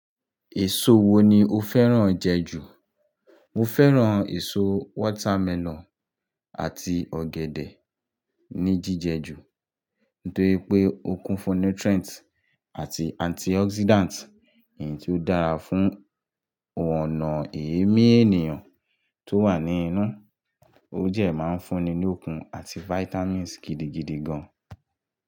Èso wo ni o fẹ́ràn jẹ ju? Mo fẹ́ràn èso watermelon àti ọ̀gẹ̀dẹ̀ ní jíjẹ ju. Nítorí pé ó kún fún nutrients àti antioxidants, èyí tí ó dára fún ọ̀nà èémí ènìyàn tó wà ní inú. Ojẹ máa ń fúnni ní okun àti vitamins gidigidi gan.